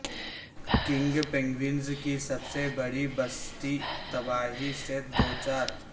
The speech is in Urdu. کنگ پینگوئنز کی سب سے بڑی بستی تباہی سے دوچار